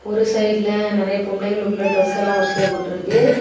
ஒரு சைடுல நெறைய பொம்பளைகளுக்குள்ள ட்ரெஸ்ஸெல்லாம் வரிசையா போட்டிருக்கு.